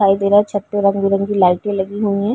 दिखाई दे रहा है। छत पे रंग-बिरंगी लाइटें लगी हुई हैं।